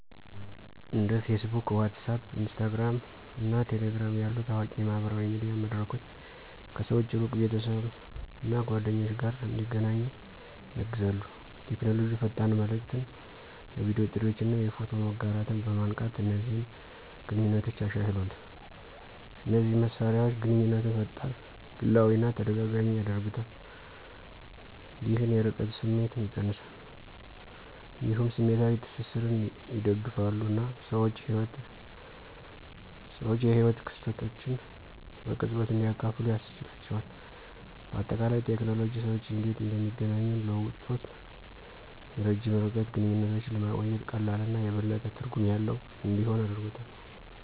እንደ Facebook፣ WhatsApp፣ Instagram እና Telegram ያሉ ታዋቂ የማህበራዊ ሚዲያ መድረኮች ሰዎች ከሩቅ ቤተሰብ እና ጓደኞች ጋር እንዲገናኙ ያግዛሉ። ቴክኖሎጂ ፈጣን መልዕክትን፣ የቪዲዮ ጥሪዎችን እና የፎቶ መጋራትን በማንቃት እነዚህን ግንኙነቶች አሻሽሏል። እነዚህ መሳሪያዎች ግንኙነትን ፈጣን፣ ግላዊ እና ተደጋጋሚ ያደርጉታል፣ ይህም የርቀት ስሜትን ይቀንሳል። እንዲሁም ስሜታዊ ትስስርን ይደግፋሉ እና ሰዎች የህይወት ክስተቶችን በቅጽበት እንዲያካፍሉ ያስችላቸዋል። በአጠቃላይ፣ ቴክኖሎጂ ሰዎች እንዴት እንደሚገናኙ ለውጦ የረጅም ርቀት ግንኙነቶችን ለማቆየት ቀላል እና የበለጠ ትርጉም ያለው እንዲሆን አድርጎታል።